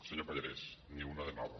senyor pallarès ni una de nova